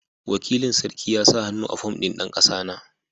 Wakilin sarki ya sa hannu a fom ɗin dan kasana.